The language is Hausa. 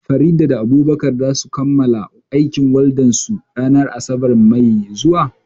Farida da Abubakar za su samu kammala aikin waldan su ranar asabar ɗin mako mai zuwa